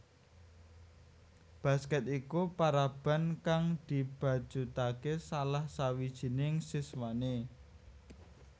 Basket iku paraban kang dibacutake salah sawijining siswane